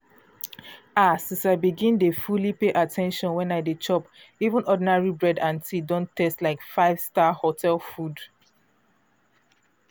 ah! since i begin dey fully pay at ten tion when i dey chop even ordinary bread and tea don dey taste like 5-star hotel food.